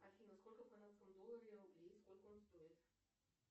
афина сколько в канадском долларе рублей и сколько он стоит